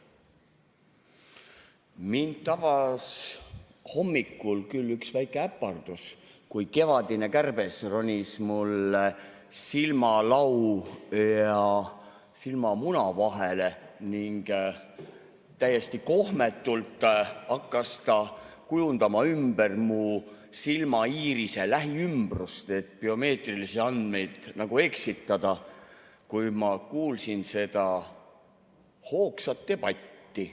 Mind tabas hommikul küll üks väike äpardus, kui kevadine kärbes ronis mulle silmalau ja silmamuna vahele ning täiesti kohmetult hakkas ta kujundama ümber mu silmaiirise lähiümbrust, et biomeetrilisi andmeid eksitada, kui ma kuulsin seda hoogsat debatti.